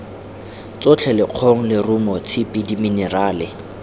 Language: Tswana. tsotlhe lekgong leruo tshipi diminerale